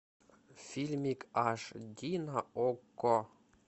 фильмик аш ди на окко